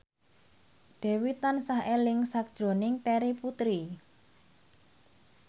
Dewi tansah eling sakjroning Terry Putri